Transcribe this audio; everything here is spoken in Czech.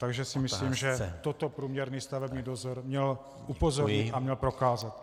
Takže si myslím, že toto průměrný stavební dozor měl upozornit a měl prokázat.